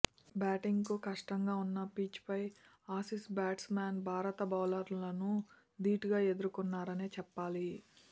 batting కు కష్టంగా ఉన్న పిచ్ పై ఆసీస్ బ్యాట్స్ మన్ భారత బౌలర్లను దీటుగా ఎదుర్కొన్నారనే చెప్పాలి